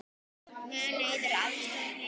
Mun Eiður aðstoða Heimi?